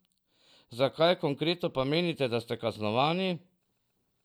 Za kaj konkretno pa menite, da ste kaznovani?